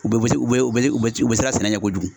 U bɛ se u bɛ u bɛ u bɛ siran sɛnɛ ɲɛ kojugu.